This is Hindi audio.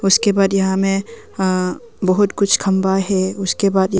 उसके बाद यहां में हां बहुत कुछ खंभा है उसके बाद ये--